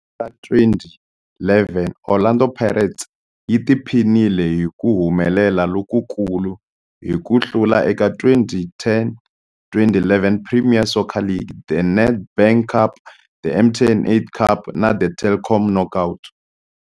Ra 2011, Orlando Pirates yi tiphinile hi ku humelela lokukulu hi ku hlula eka 2010-2011 Premier Soccer League, The Nedbank Cup, The MTN 8 Cup na The Telkom Knockout.